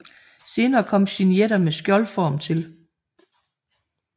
Senere kom signeter med skjoldform til